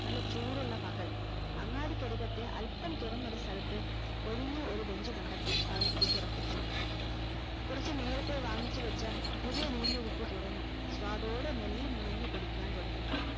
നല്ല ചൂടുള്ള പകൽ അങ്ങാടിക്കാരികത്തെ അൽപം തുറന്ന ഒരു സ്ഥലത്തു ഒഴിഞ്ഞ ഒരു bench കണ്ടത്തി അവിടെ അവൻ ഇരിപ്പുറപ്പിച്ചു കൊറച്ചു നേരത്തേ വാങ്ങിച്ചു വെച്ച പുതിയ വീഞ്ഞ് കുപ്പി തുറന്നു സ്വാദോടെ മെല്ല നുണഞ്ഞു കുടിക്കുവാൻ തുടങ്ങി